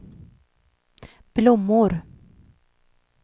blommor